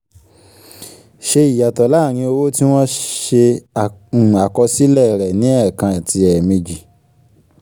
ṣe ìyàtọ̀ láàrín owó tí wọ́n ṣe um àkọsílẹ̀ rẹ̀ ní ẹ̀ẹ̀kàn àti ẹ̀ẹ̀mejì